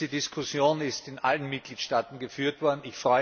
Diese Diskussion ist in allen Mitgliedstaaten geführt worden.